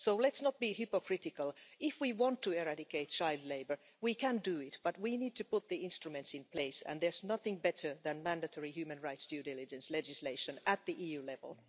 So let's not be hypocritical if we want to eradicate child labour, we can do it, but we need to put the instruments in place, and there's nothing better than mandatory human rights due diligence legislation at the EU level.